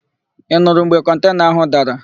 Ị nurụ mgbe kọntena ahụ dara?